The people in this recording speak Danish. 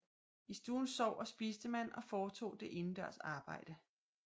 I stuen sov og spiste man og foretog det indendørs arbejde